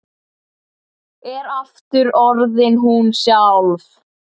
Er aftur orðin hún sjálf.